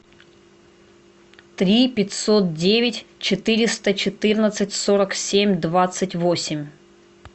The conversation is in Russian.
три пятьсот девять четыреста четырнадцать сорок семь двадцать восемь